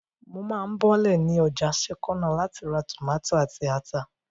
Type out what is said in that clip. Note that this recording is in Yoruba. Mo máa bọ́lẹ̀ ní ọjà sẹ́kọ́nà láti ra tòmátò àti ata